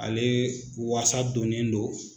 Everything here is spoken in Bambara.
Ale wasa donnen don